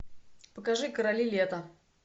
покажи короли лета